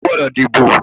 O gbọ́dọ̀ díbò!